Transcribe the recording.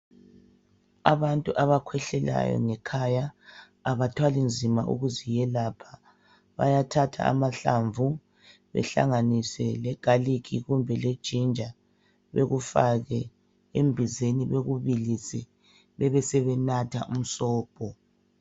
Abantu abakhwehlelayo ngekhaya abathwali nzima ukuzelapha bayathatha amahlamvu bahlanganise le galikhi kumbe lejinja bekufake embizeni bekubilise, besebenatha umsobho